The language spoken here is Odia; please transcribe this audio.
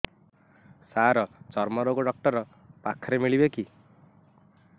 ସାର ଚର୍ମରୋଗ ଡକ୍ଟର ପାଖରେ ମିଳିବେ କି